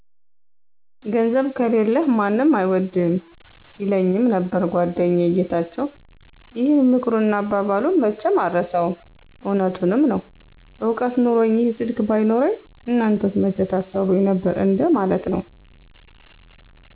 ''ገንዘብ ከሌለህ ማንም አይወድህም''ይለኘመ ነበር ጎደኛየ ጌታቸው ይህን ምክሩንና አባባሉን መቸም አረሳውም እውነቱንምዐነው እውቀት ኑኖኚ ይህ ስልክ ባይኖረኚ እናንተስ መቸ ታሰሩኚ ነበር እንደ ማለት ነው።